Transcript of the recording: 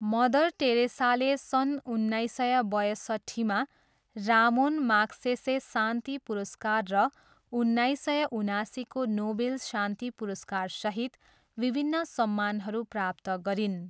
Mother टेरेसाले सन् उन्नाइस सय बयसट्ठीमा रामोन माग्सेसे शान्ति पुरस्कार र उन्नाइस सय उनासीको नोबेल शान्ति पुरस्कारसहित विभिन्न सम्मानहरू प्राप्त गरिन्।